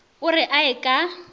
o re a ye ka